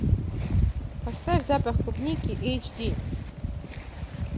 поставь запах клубники эйч ди